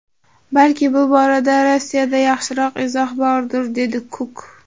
Balki bu borada Rossiyada yaxshiroq izoh bordir”, dedi Kuk.